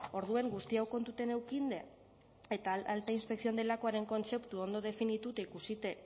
orduan guzti hau kontuten eukinde eta alta inspección delakoaren kontzeptua ondo definitute ikusite